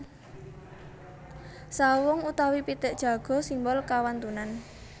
Sawung utawi pitik jago simbol kawantunan